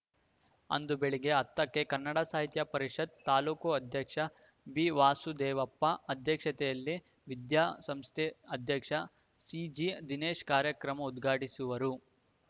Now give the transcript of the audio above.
ಅಂದು ಬೆಳಿಗ್ಗೆ ಹತ್ತಕ್ಕೆ ಕಸಾಪ ತಾಲೂಕು ಅಧ್ಯಕ್ಷ ಬಿವಾಮದೇವಪ್ಪ ಅಧ್ಯಕ್ಷತೆಯಲ್ಲಿ ವಿದ್ಯಾಸಂಸ್ಥೆ ಅಧ್ಯಕ್ಷ ಸಿಜಿದಿನೇಶ ಕಾರ್ಯಕ್ರಮ ಉದ್ಘಾಟಿಸುವರು